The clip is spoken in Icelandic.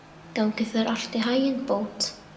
Gangi þér allt í haginn, Bót.